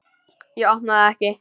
Ég opna það ekki.